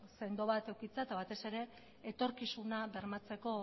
sendo bat edukitzea eta batez ere etorkizuna bermatzeko